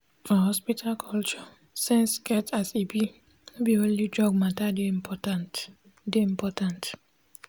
for hospital culture sense get as e be no be only drug matter dey important. dey important.